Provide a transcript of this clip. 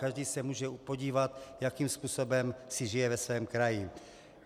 Každý se může podívat, jakým způsobem si žije ve svém kraji.